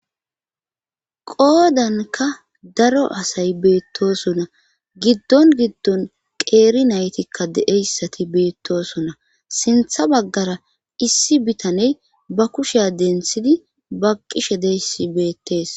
qoodanka daro asay beettosonna giddon giddon qeeri naytikka deeyssati beettosonna sintha baggara issi bitaney ba kushiya denthidi baqqishe deyssi beettees